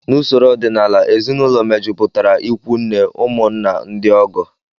N'usoro ọdịnala, ezinụlọ mejupụtara ikwu nne, ụmụnna, ndị ọgọ